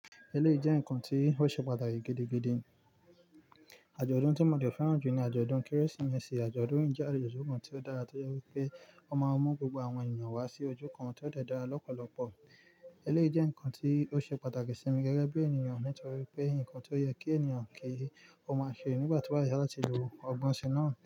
Eleyii jẹ́ ǹkan tí ó ṣe pàtàkì gidigidi. Àjọ̀dún tí mo de fẹ́ràn jù ni àjọ̀dún Kérésìmesì. Àjọ̀dún yìí jẹ́ àjọ̀dún kan tí ó dára to je wipé ó máa ń mú gbogbo àwọn ènìyàn wá sí ojú kan tó dẹ́ra lọ́pọ̀lọpọ̀. Eleyii jẹ́ ǹkan tí ó ṣe pàtàkì sí mi gẹ́gẹ́ bí ènìyàn nítorí pé ǹkan tí ó yẹ kí ènìyàn kí ó máa ṣe nígbà tí wà yá láti lo ọgbọ́n sí i náà.